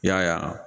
Y'a ye